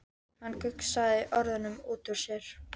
Hann gusaði orðunum út úr sér.